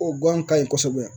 O guwan ka ɲi kosɛbɛ.